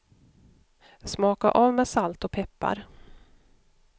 Smaka av med salt och peppar.